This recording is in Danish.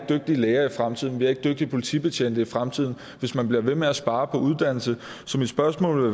dygtige læger i fremtiden vi har ikke dygtige politibetjente i fremtiden hvis man bliver ved med at spare på uddannelse så mit spørgsmål